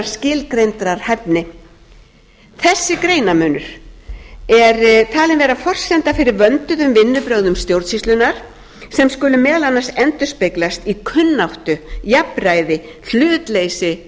skilgreindrar hæfni þessi greinarmunur er talinn vera forsenda fyrir vönduðum vinnubrögðum stjórnsýslunnar sem skulu meðal annars endurspeglast í kunnáttu jafnræði hlutleysi